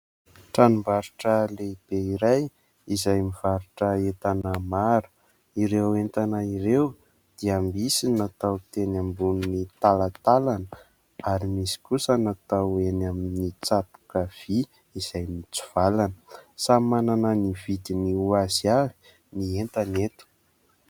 Tranom-barotra lehibe iray izay mivarotra entana. Maro ireo entana ireo dia misy ny natao teny ambonin' ny talatalana ary misy kosa natao eny amin' ny tsatoka vy izay mitsivalana. Samy manana ny vidiny ho azy avy ny entana eto.